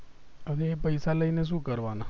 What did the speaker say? હવે પૈસા લઈને શું કરવાના